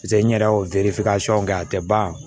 paseke n yɛrɛ y'o kɛ a te ban